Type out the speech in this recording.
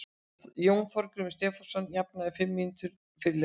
Jón Þorgrímur Stefánsson jafnaði um fimm mínútum fyrir leikhlé.